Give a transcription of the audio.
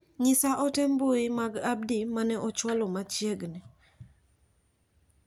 Nyisa ote mbui mag Abdi ma ne ochwalo machiegni.